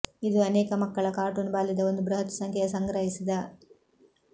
ಇದು ಅನೇಕ ಮಕ್ಕಳ ಕಾರ್ಟೂನ್ ಬಾಲ್ಯದ ಒಂದು ಬೃಹತ್ ಸಂಖ್ಯೆಯ ಸಂಗ್ರಹಿಸಿದ